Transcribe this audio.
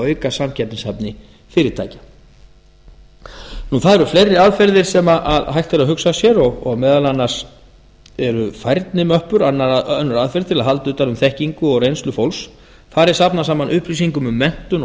auka samkeppnishæfni fyrirtækja það eru fleiri aðferðir sem hægt er að hugsa sér og meðal annars eru fleiri aðferðir sem hægt er að hugsa sér og meðal annars eru færnimöppur önnur aðferð til að halda utan um þekkingu og reynslu fólks þar er safnað saman upplýsingum um menntun og